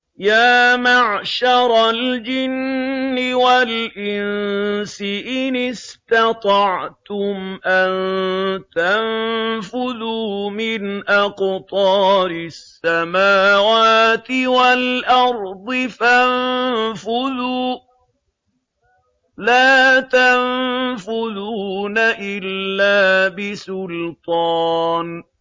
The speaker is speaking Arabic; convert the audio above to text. يَا مَعْشَرَ الْجِنِّ وَالْإِنسِ إِنِ اسْتَطَعْتُمْ أَن تَنفُذُوا مِنْ أَقْطَارِ السَّمَاوَاتِ وَالْأَرْضِ فَانفُذُوا ۚ لَا تَنفُذُونَ إِلَّا بِسُلْطَانٍ